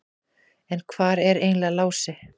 En hvar er eiginlega Lási?